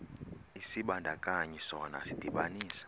isibandakanyi sona sidibanisa